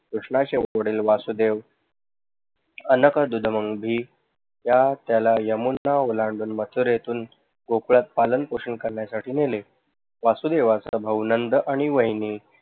कृष्ण वासुदेव या त्याला यमुना ओलांडून माथुरेतून गोकुळात पाकन पोषण करण्यासाठी नेले. वसुदेवाचा भाऊ नंद आणि वाहिनी